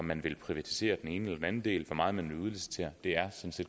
man vil privatisere den ene eller den anden del og hvor meget man vil udlicitere